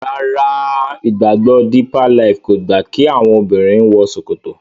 Ràrá ìgbàgbọ deeper life kọ gba ki àwọn obìrin wò ṣòkòtò.